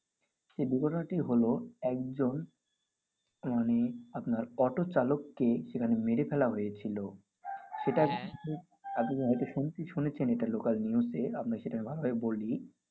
তো দুর্ঘটনাটি হল একজন মানে আপনার অটো চালককে এখানে মেরে ফেলা হয়েছিল। হম্ম। আপনি হয়তো শুনছি শুনেছেন এটা local news এ। আপনাকে এটা বাংলায় বলি